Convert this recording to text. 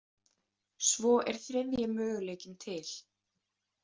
Svo er þriðji möguleikinn til.